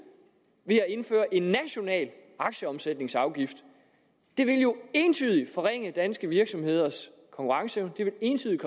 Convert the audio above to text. ved at indføre en national aktieomsætningsafgift det ville jo entydigt forringe danske virksomheders konkurrenceevne det ville entydigt